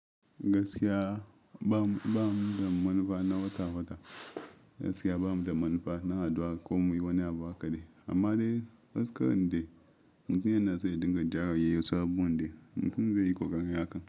Gaskiya ba mu da manufa na wata-wata, gaskiya ba mu da manufa na haɗuwa ko muyi wani abu a kaɗai. Amma dai gaskar inde mutumin yana so ya dinga ja rayuwar saboda mutum zai yi ƙoƙari haka.